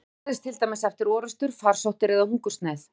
Það gerðist til dæmis eftir orrustur, farsóttir eða hungursneyð.